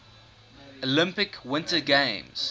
olympic winter games